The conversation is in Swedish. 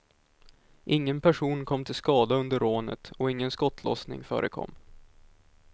Ingen person kom till skada under rånet och ingen skottlossning förekom.